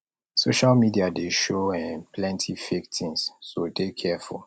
social media dey show um plenty fake things so dey careful